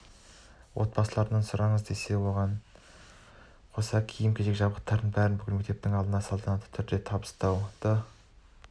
отбасылардан сұраңыз десе керек оған қоса киім-кешек жабдықтың бәрін бүкіл мектептің алдында салтанатты түрде табыстауды